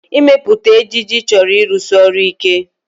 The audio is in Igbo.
Ịmepụta ejiji chọrọ ịrụsi ọrụ ike